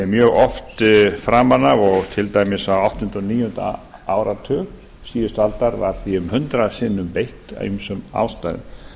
mjög oft framan af og til dæmis á áttunda og níunda áratug síðustu aldar var því um hundrað sinnum beitt af ýmsum ástæðum